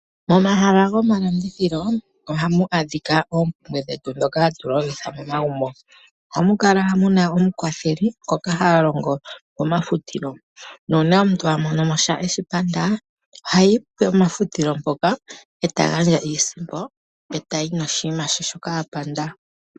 Momahala gomalandithilo ohamu adhika oompumbwe dhetu dhoka hatu longitha momagumbo. Ohamu kala muna omukwatheli ngoka ha longo pomafutilo, nuuna omuntu amonomo sha eshipanda, ohayi pomafutilo mpoka, eta gandja iisimpo, eta yi noshinima she shoka apanda.